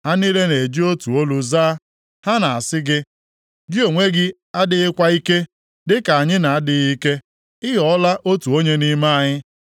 Ha niile ga-eji otu olu zaa, ha ga-asị gị, “Gị onwe gị adịghịkwa ike, dịka anyị na-adịghị ike; Ị ghọọla otu onye nʼime anyị.”